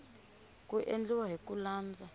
ku endliwa hi ku landza